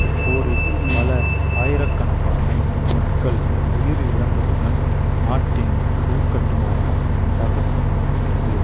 இப்போரில் பல ஆயிரக்கணக்கான மக்கள் உயிரிழந்ததுடன் நாட்டின் உள்கட்டுமான தகர்க்கப்பட்டுவிட்டது